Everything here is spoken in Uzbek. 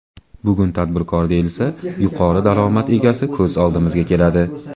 Bugun tadbirkor, deyilsa, yuqori daromad egasi ko‘z oldimizga keladi.